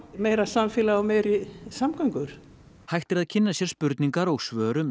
meira samfélag og meiri samgöngur hægt er að kynna sér spurningar og svör um